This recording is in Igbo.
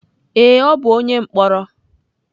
Ee, ọ bụ onye mkpọrọ.